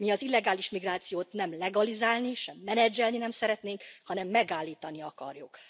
Mi az illegális migrációt nem legalizálni, sem menedzselni nem szeretnénk, hanem megállítani akarjuk.